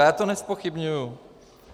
A já to nezpochybňuji.